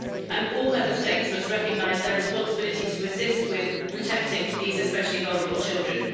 And all Member States must recognise their responsibility to assist with protecting these especially vulnerable children.